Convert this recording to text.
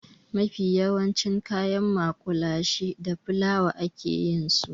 Mafi yawancin kayan maƙulashe da fulawa a ke yin su.